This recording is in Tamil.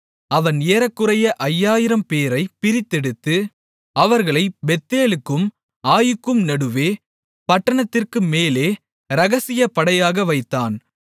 அவன் ஏறக்குறைய ஐயாயிரம் பேரைப் பிரித்தெடுத்து அவர்களை பெத்தேலுக்கும் ஆயீக்கும் நடுவே பட்டணத்திற்குமேலே இரகசியப்படையாக வைத்தான்